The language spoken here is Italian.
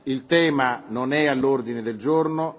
Il tema non è all'ordine del giorno.